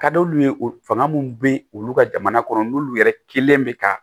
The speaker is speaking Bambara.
Ka d'olu ye o fanga minnu bɛ olu ka jamana kɔnɔ n'olu yɛrɛ kelen bɛ ka